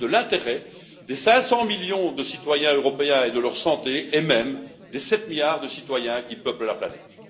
Il y va de l'intérêt des 500 millions de citoyens européens et de leur santé, et même des 7 milliards de citoyens qui peuplent la planète.